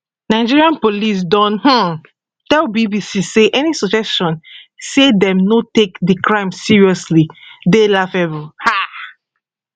nigerian police don um tell bbc say any suggestion say dem no take di crimes seriously dey laughable um